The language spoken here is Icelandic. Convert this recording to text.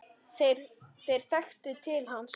Þeir þekktu til hans.